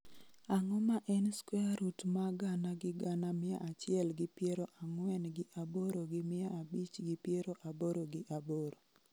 Ang'o ma en square root ma gana gi gana mia achiel gi piero ang'wen gi aboro gi mia abich gi piero aboro gi abiro